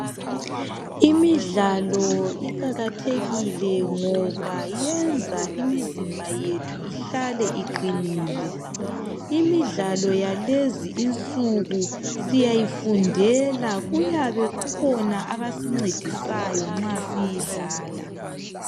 Imidlalo iqakathekile ngoba yenza imizimba yethu ihlale iqinile. Imidlalo yalezi insuku siyayifundela kuyabe kukhona abasincedisayo nxa siyidlala.